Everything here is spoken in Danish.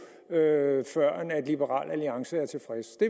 før liberal alliance er tilfreds det